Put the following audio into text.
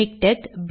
MiKTeX